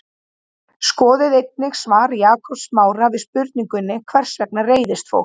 Skoðið einnig svar Jakobs Smára við spurningunni Hvers vegna reiðist fólk?